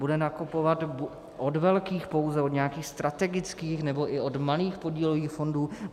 Bude nakupovat od velkých pouze, od nějakých strategických, nebo i od malých podílových fondů?